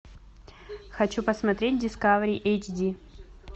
хочу посмотреть дискавери эйч ди